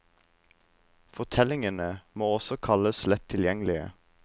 Fortellingene må også kalles lett tilgjengelige.